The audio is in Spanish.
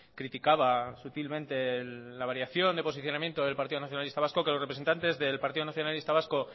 criticaba sutilmente la variación de posicionamiento del partido nacionalista vasco que los representantes del partido nacionalista vasco